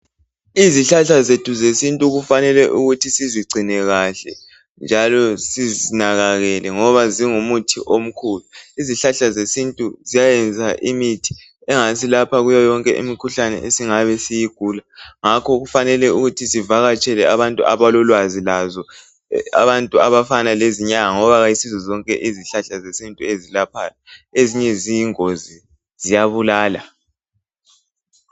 Izihlahla zethu zesintu kufanele ukuthi sizigcine kahle njalo sizinakekele ngoba zingumuthi omkhulu izihlahla zesintu ziyayenza imithi engasilapha kuyo yonke imikhuhlane esingabe siyigula ngakho kufanele ukuthi sivakatshele abantu abalolwazi lazo abantu abafana lezinyanga ngoba ayisizo zonke izihlahla zesintu ezilaphayo ezinye ziyingozi ziyabulala.